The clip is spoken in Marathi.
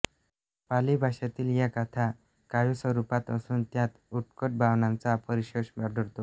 पाली भाषेतील या गाथा काव्यस्वरूपात असून त्यांत उत्कट भावनांचा परिपोष आढळतो